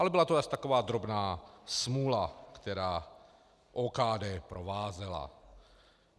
Ale byla to asi taková drobná smůla, která OKD provázela.